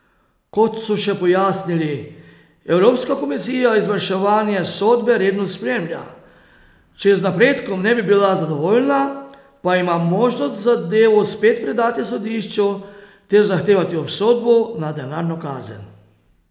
Kot so še pojasnili, Evropska komisija izvrševanje sodbe redno spremlja, če z napredkom ne bi bila zadovoljna, pa ima možnost zadevo spet predati sodišču ter zahtevati obsodbo na denarno kazen.